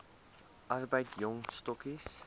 arbeid jong stokkies